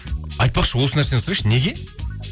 айтпақшы осы нәрсені сұрайыншы неге